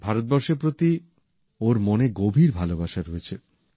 ভারতবর্ষের প্রতি ওঁর মনে গভীর ভালোবাসা রয়েছে